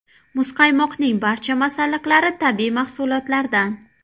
Muzqaymoqning barcha masalliqlari tabiiy mahsulotlardan.